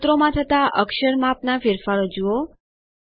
સૂત્રોમાં થતા અક્ષર માપના ફેરફારો જુઓ